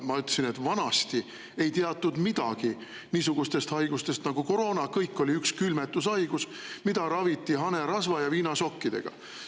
Ma ütlesin, et vanasti ei teatud midagi niisugustest haigustest nagu koroona, kõik oli üks külmetushaigus, mida raviti hanerasva ja viinasokkidega.